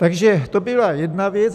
Takže to byla jedna věc.